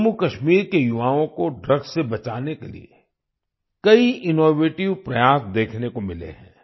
जम्मूकश्मीर के युवाओं को ड्रग्स से बचाने के लिए कई इनोवेटिव प्रयास देखने को मिले हैं